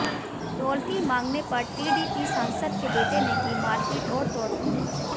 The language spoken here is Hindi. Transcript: टोल फी मांगने पर टीडीपी सांसद के बेटे ने की मारपीट और तोड़फोड़